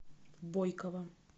бойкова